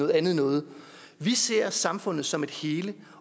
andet noget vi ser samfundet som et hele